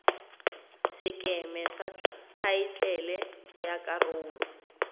sekeme sa thaetlele ya karolo